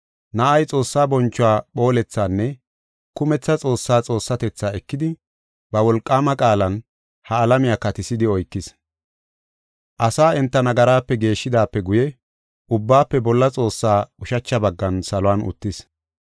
Na7ay Xoossaa bonchuwa phoolethaanne kumetha Xoossa Xoossatetha ekidi, ba wolqaama qaalan ha alamiya katisidi oykis. Asaa enta nagaraape geeshidaape guye Ubbaafe Bolla Xoossaa ushacha baggan saluwan uttis.